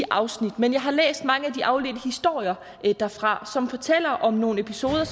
afsnit men jeg har læst mange af de afledte historier derfra som fortæller om nogle episoder